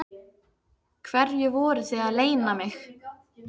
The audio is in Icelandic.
Hverju voruð þið að leyna mig?